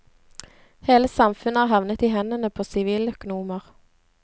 Hele samfunnet er havnet i hendene på siviløkonomer.